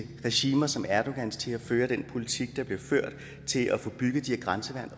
regimer som erdogans til at føre den politik der bliver ført til at få bygget de her grænseværn